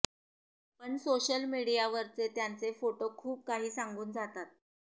पण सोशल मीडियावरचे त्यांचे फोटो खूप काही सांगून जातात